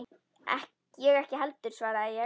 Ég ekki heldur, svaraði ég.